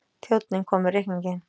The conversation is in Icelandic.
Þjónninn kom með reikninginn.